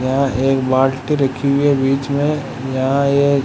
यहां एक बाल्टी रखी हुई है बीच में यहां एक --